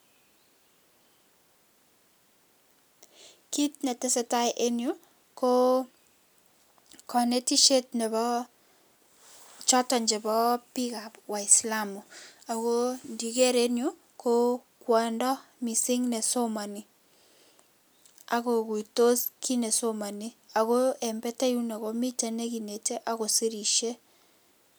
Kitnetesetai enyuu koo konetishet neboo choton cheboo biik waisilamu akoo ndiker enyuu koo kwondo missing nesomoni akokuitos kiit nesomoni akoo een batai yuuno komiten nekinetei akosirishei